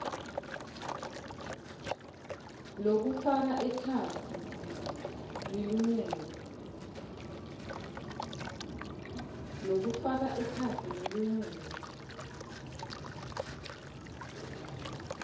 lokufaka ekhatsi lilungelo